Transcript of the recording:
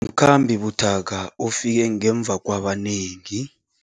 Umkhambi buthaka ufike ngemva kwabanengi.